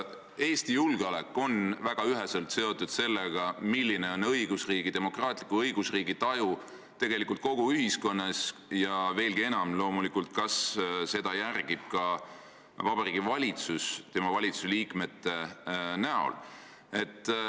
Eesti julgeolek on väga üheselt seotud sellega, milline on demokraatliku õigusriigi taju kogu ühiskonnas ja veelgi enam, loomulikult, kas seda järgib ka Vabariigi Valitsus ehk kas seda teevad tema liikmed.